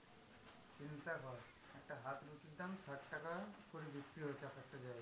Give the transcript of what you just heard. চিন্তা কর একটা হাত রুটির দাম ষাট টাকা করে বিক্রি হচ্ছে, এক একটা জায়গায়।